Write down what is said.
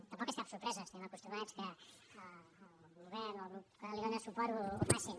tampoc és cap sorpresa estem acostumats que el govern o el grup que li dona suport ho facin